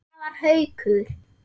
Það var Haukur.